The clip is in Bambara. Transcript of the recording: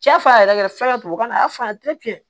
Cɛ fa yɛrɛ yɛrɛ fɛngɛ la a y'a faamu ten